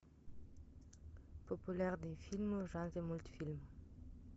популярные фильмы в жанре мультфильм